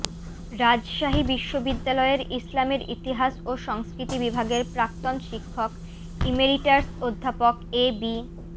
রাজশাহী বিশ্ববিদ্যালয়ের ইসলামের ইতিহাস ও সংস্কৃতি বিভাগের প্রাক্তন শিক্ষক ইমেরিটাস অধ্যাপক এ বি